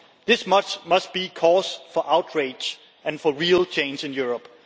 This much must be cause for outrage and for real change in Europe.